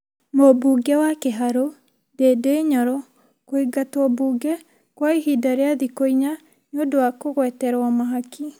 Mũmbunge wa Kĩharũ Ndindi Nyoro kũingatwombunge kwa ihinda rĩa thikũ inya nĩ ũndũ wa kũgweterwo mahaki